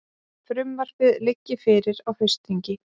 Frumvarpið liggi fyrir á haustþingi